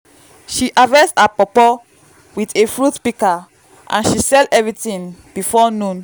she harvest her pawpaw with a fruit pika and she sell eeverything before noon